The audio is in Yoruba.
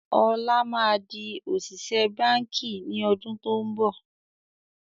Ọlá má di òṣìṣẹ́ báńkì ni ọdún to ń bọ̀